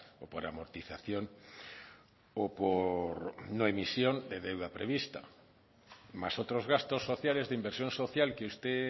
o por amortización o por no emisión de deuda prevista más otros gastos sociales de inversión social que usted